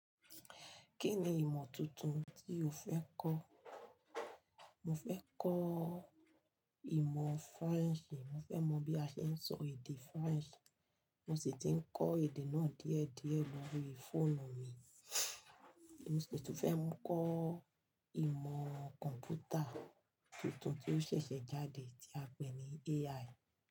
Kí ni ìmọ̀ tuntun tí o fẹ́ kọ́? Mo fẹ́ kọ́ ìmọ̀ French. Mo fẹ́ mọ bí a ṣe ń sọ èdè French. Mo sì ti ń kọ èdè náà díẹ̀ díẹ̀ lórí fóònù mi. Mo sì tún fẹ́ kọ ìmọ̀ kọ̀ǹpútà tuntun tí ó ṣẹ̀ṣẹ̀ jáde tí a ń pè ní AI.